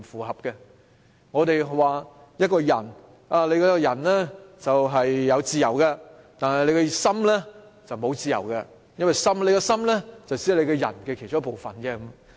正如我們說一個人有自由，但他的心卻沒有自由，因為心只是人的其中一個部分。